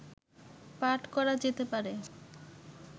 পাঠ করা যেতে পারে